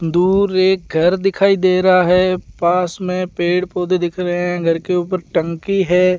दूर एक घर दिखाई दे रहा है पास में पेड़ पौधे दिख रहे हैं घर के ऊपर टंकी है।